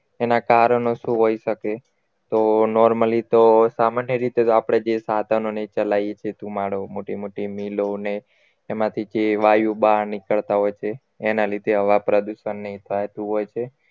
એના કારણો શું હોઈ શકે તો normally તો સામાન્ય રીતે તો આપણે જે સાધનોને ચલાઈએ છીએ ધુમાડો મોટી મોટી મિલોને એમાંથી જે વાયુ બહાર નીકળતા હોય તે તેના લીધે હવા પ્રદુષણની થતું હોય છે